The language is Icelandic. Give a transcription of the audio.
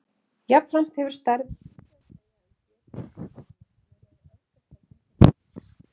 Jafnframt hefur stærðin lítið að segja um getu til æxlunar nema í öfgakenndum tilfellum.